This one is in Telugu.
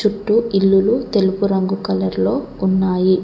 చూట్టూ ఇల్లులు తెలుపు రంగు కలర్లో ఉన్నాయి.